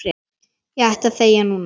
Ég ætti að þegja núna.